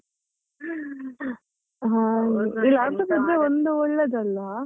ಒಂದು ಒಳ್ಳೆದ್ ಅಲ.